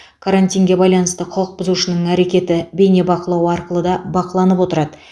карантинге байланысты құқық бұзушының әрекеті бейнебақылау арқылы да бақыланып отырады